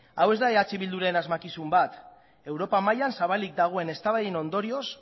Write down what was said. hau ez da eh bilduren asmakizun bat europa mailan zabalik dagoen eztabaiden ondorioz